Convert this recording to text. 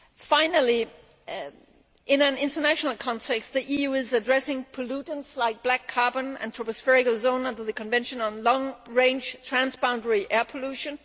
Finally, in an international context, the EU is addressing pollutants like black carbon and tropospheric ozone under the Convention on Long Range Transboundary Air Pollution.